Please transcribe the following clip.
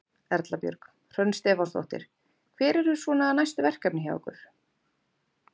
Erla Björg: Hrönn Stefánsdóttir, hver eru svona næstu verkefni hjá ykkur?